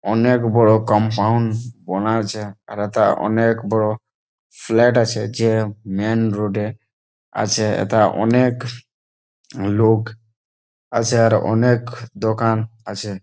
অনেক বড় কম্পাউন্ড বানা আছে আর এথা অনেক বড় ফ্ল্যাট আছে। যে মেইন রোড এ আছে এথা অনেক লোক আছে আর অনেক দোকান আছে।